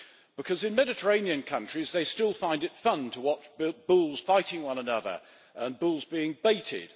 Because in Mediterranean countries they still find it fun to watch bulls fighting one another and bulls being baited.